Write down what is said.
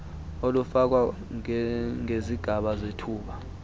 olufakwa ngezigaba zethuba